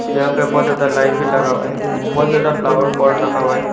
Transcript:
यहां पे बहुत ज्यादा लाइट भी लगा हुआ है बहुत ज्यादा फ्लावर पॉट रखा हुआ है।